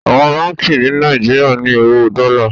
Àwọn Bánkì ni Nàìjíríà ní owó Dola.